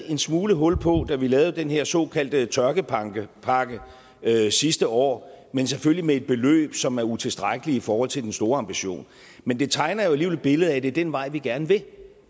en smule hul på da vi lavede den her såkaldte tørkepakke sidste år men selvfølgelig med et beløb som er utilstrækkeligt i forhold til den store ambition men det tegner alligevel et billede af at det er den vej vi gerne vil